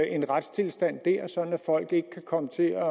en retstilstand der sådan at folk ikke kan komme til at